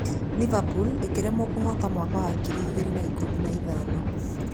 Liverpool ĩkĩremwo kũhota mwaka ngiri igĩrĩ na ikũmi na ithano